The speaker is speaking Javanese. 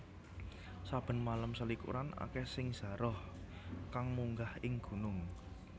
Saben malem selikuran akèh sing zaroh kang munggah ing gunung